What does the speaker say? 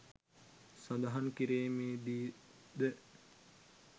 සඳහන් කිරීමේදී ද